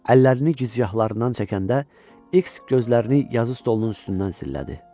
Əllərini gicgahlarından çəkəndə, X gözlərini yazı stolunun üstündən sillədi.